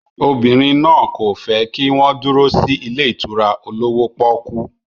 Obìnrin náà kò fẹ́ kí wọ́n dúró sí ilé ìtura olówó pọ́ọ́kú.